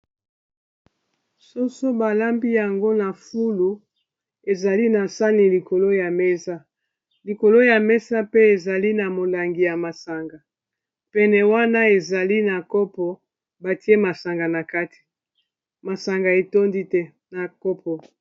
Soso balambi yango na fulu ezali na sani likolo ya mesa likolo ya mesa pe ezali na molangi ya masanga pene wana ezali na kopo batie masanga na kati masanga etondi te na kopo.